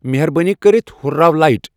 مہربٲنی کٔرِتھ ہُرراو لایٹ ۔